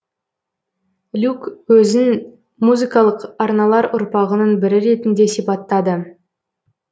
люк өзін музыкалық арналар ұрпағының бірі ретінде сипаттады